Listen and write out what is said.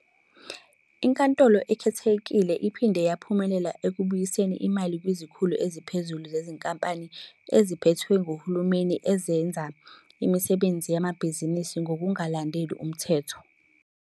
INkantolo Ekhethekile iphinde yaphumelela ekubuyiseni imali kwizikhulu eziphezulu zezinkampani eziphethwe nguhulumeni ezazenza imisebenzi yamabhizinisi ngokungalandeli umthetho.